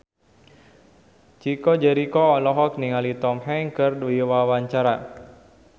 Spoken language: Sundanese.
Chico Jericho olohok ningali Tom Hanks keur diwawancara